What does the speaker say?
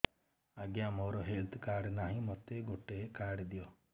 ଆଜ୍ଞା ମୋର health card ନାହିଁ ମୋତେ ଗୋଟେ କାର୍ଡ ଦିଅ